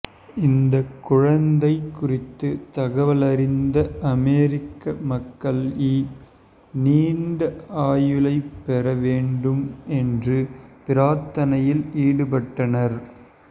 இந்த குழந்தை குறித்து தகவலறிந்த அமெரிக்க மக்கள்இ நீண்ட ஆயுளைப் பெற வேண்டும் என்று பிரார்த்தனையில் ஈடுபட்டனர்